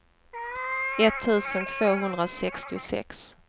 etttusen tvåhundrasextiosex